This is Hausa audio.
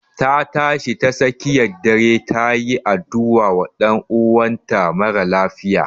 Ta tashi tsakiyar dare ta yi addu'a wa ɗan'uwan ta marar lafiya